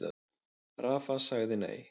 Rafa sagði nei.